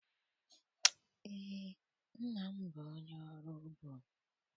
Eé, nna m bụ onye ọrụ ugbo.